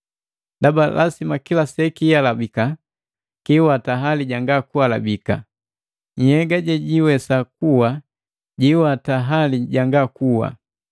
Ndaba lasima kila sekihalabika kiwata hali janga kuhalabika, nhyega jejiwesa kuwa jijiwatika hali janga kuwa.